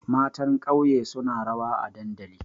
Matan ƙauye suna rawa a dandali.